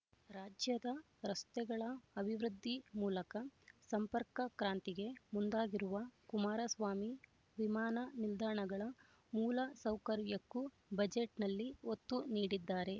ರಾಜ್ಯದ ರಸ್ತೆಗಳ ಅಭಿವೃದ್ಧಿ ಮೂಲಕ ಸಂಪರ್ಕ ಕ್ರಾಂತಿಗೆ ಮುಂದಾಗಿರುವ ಕುಮಾರಸ್ವಾಮಿ ವಿಮಾನ ನಿಲ್ದಾಣಗಳ ಮೂಲ ಸೌಕರ್ಯಕ್ಕೂ ಬಜೆಟ್‌ನಲ್ಲಿ ಒತ್ತು ನೀಡಿದ್ದಾರೆ